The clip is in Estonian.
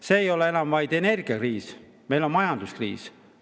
See ei ole enam vaid energiakriis, vaid meil on ka majanduskriis.